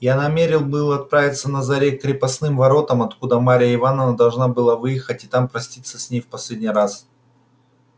я намерен был отправиться на заре к крепостным воротам откуда марья ивановна должна была выехать и там проститься с ней в последний раз